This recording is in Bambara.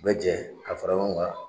Bɛɛ bɛ jɛ ka fara ɲɔgɔn lan